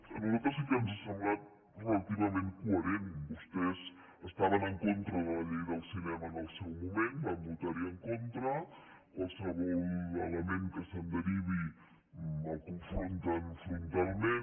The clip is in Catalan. a nosaltres sí que ens ha semblat relativament coherent vostès estaven en contra de la llei del cinema en el seu moment van votar hi en contra qualsevol element que se’n derivi el confronten frontalment